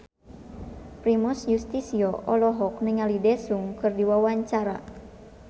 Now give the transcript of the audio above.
Primus Yustisio olohok ningali Daesung keur diwawancara